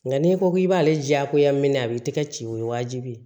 Nka n'i ko k'i b'ale diyagoya minɛn a b'i tɛgɛ ci o ye wajibi ye